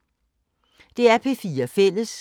DR P4 Fælles